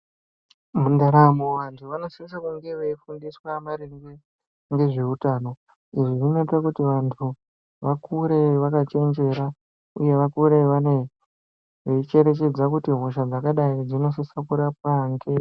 Mundaramo vantu vanosise kunge veifundiswa maringe ngezveutano zvinoita kuti vantu vakure vakachenjera uye vakure veicherechedza kuti hosha dzakadai dzinosise kurapwa ngei.